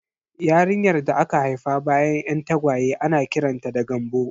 Yarinyar da aka haifa bayan 'yan tagwaye ana kiranta da 'Gambo'